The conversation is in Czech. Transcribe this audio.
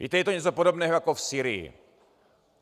Víte, je to něco podobného jako v Sýrii.